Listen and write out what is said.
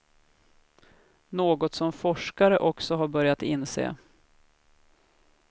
Något som forskare också har börjat inse.